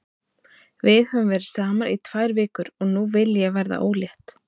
Við höfum verið saman í tvær vikur og nú vil ég verða ólétt.